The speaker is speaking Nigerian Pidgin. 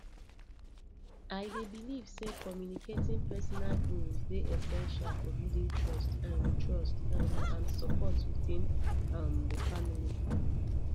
i dey believe say communicating personal goals dey essential for building trust um trust um and support within um the family